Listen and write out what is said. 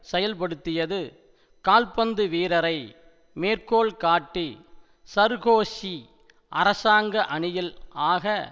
செயல்படுத்தியது கால்பந்து வீரரை மேற்கோள்காட்டி சர்கோஷி அராசங்க அணியில் ஆக